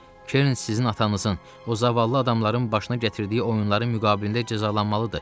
Kern sizin atanızın, o zavallı adamların başına gətirdiyi oyunların müqabilində cəzalanmalıdır.